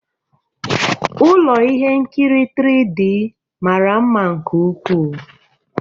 Ụlọ ihe nkiri 3D mara mma nke ukwuu.